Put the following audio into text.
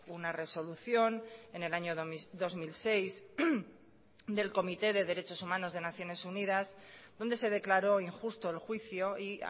una resolución en el año dos mil seis del comité de derechos humanos de naciones unidas donde se declaró injusto el juicio y